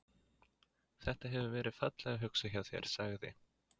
Þetta. hefur verið fallega hugsað hjá þér sagði